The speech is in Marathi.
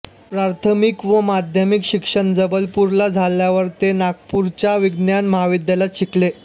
प्राथमिक व माध्यमिक शिक्षण जबलपूरला झाल्यावर ते नागपूरच्या विज्ञान महाविद्यालयात शिकले